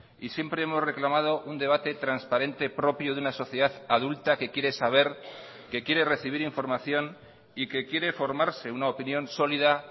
y siempre hemos reclamado un debate transparente propio de una sociedad adulta que quiere saber que quiere recibir información y que quiere formarse una opinión sólida